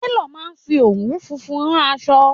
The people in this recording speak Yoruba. Télò náà fi òwú funfun rán aṣọ.